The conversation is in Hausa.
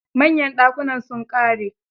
Manyan dakunan su sun ƙare.